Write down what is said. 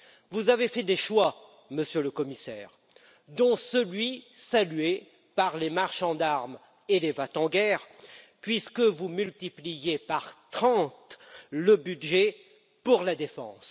Vous avez fait des choix, Monsieur le Commissaire, dont celui, salué par les marchands d'armes et les va t en guerre, de multiplier par trente le budget de la défense.